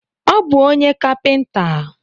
Ọ bụ onye kapinta